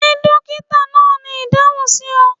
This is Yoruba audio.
Ṣe dokita naa ni idahun si ọ?